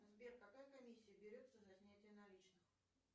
сбер какая комиссия берется за снятие наличных